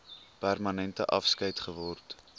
permanente afskeid geword